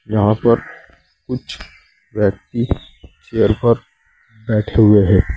यहां पर कुछ व्यक्ति चेयर पर बैठे हुए है।